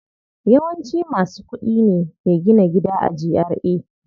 Yawanci masu kuɗi ne ke gina gida a GRA.